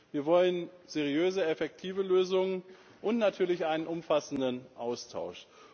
Wir wollen seriöse, effektive Lösungen und natürlich einen umfassenden Austausch.